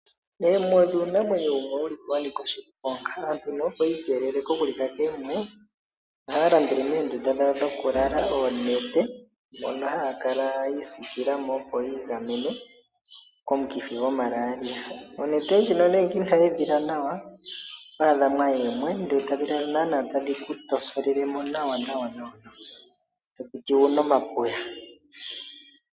Oomwe odho iinamwenyo wumwe wa nika oshiponga. Aantu opo yi keelele kokulika koomwe, ohaya landele meendunda dhawo dhokulala oonete, mono haya kala yi isikila mo opo yi igamene komukithi gomalalia. Onete ndjino ngele ino yi edhila nawa, oto adha mwaya oomwe, e tadhi kala naa tadhi ku tosolele mo nawa, to piti wu na omapuya.